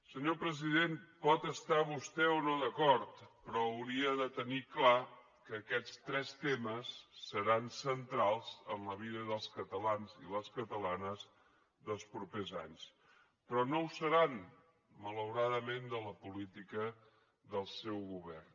senyor president pot estar hi vostè o no d’acord però hauria de tenir clar que aquests tres temes seran centrals en la vida dels catalans i les catalanes dels propers anys però no ho seran malauradament de la política del seu govern